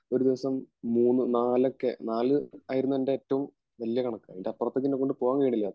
ഒരു ദിവസം നാല് മൂനോക്കെ നാല് ആയിരുന്നു ന്റെ ഏറ്റവും വലിയ കണക്കു അതിനു അപ്പുറത്തേക്ക് പൂവൻ കഴിഞ്ഞട്ടില്ല